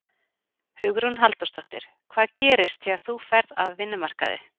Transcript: Hugrún Halldórsdóttir: Hvað gerist þegar þú ferð af vinnumarkaði?